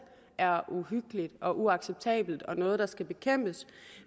er uhyggeligt og uacceptabelt og noget der skal bekæmpes